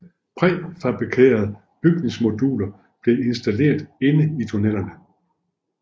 Præfabrikerede bygningsmoduler blev installeret inde i tunnelerne